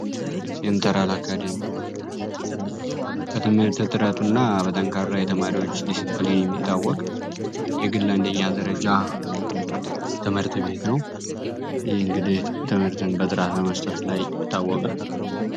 ሴንተራል አካደሚ በትምህርት ጥረቱ እና በጠንካራ የተማሪዎች ዲስፕሊን የሚታወቅ የግል አንደኛ ደረጃ ትምህርት ቤት ነው ይህ እንግዲህ ትምህርትን በጥራት መስጠት ላይ ይታወቃል።